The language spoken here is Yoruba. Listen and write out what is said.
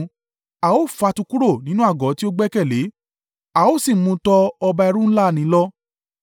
A ó fà á tu kúrò nínú àgọ́ tí ó gbẹ́kẹ̀lé, a ó sì mú un tọ ọba ẹ̀rù ńlá nì lọ.